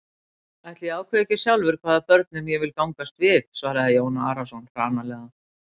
Ætli ég ákveði ekki sjálfur hvaða börnum ég vil gangast við, svaraði Jón Arason hranalega.